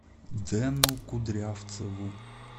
дэну кудрявцеву